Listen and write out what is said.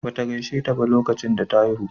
Bata gaisheta ba lokacin da ta haihu.